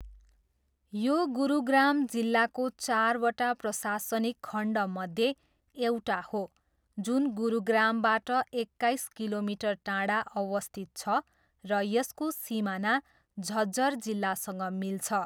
यो गुरुग्राम जिल्लाको चारवटा प्रशासनिक खण्डमध्ये एउटा हो जुन गुरुग्रामबाट एक्काइस किलोमिटर टाढा अवस्थित छ र यसको सिमाना झज्जर जिल्लासँग मिल्छ।